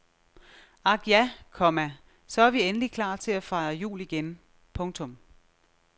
Ak ja, komma så er vi endelig klar til at fejre jul igen. punktum